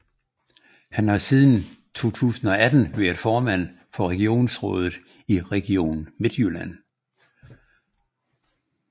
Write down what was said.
Han har siden 2018 været formand for regionsrådet i Region Midtjylland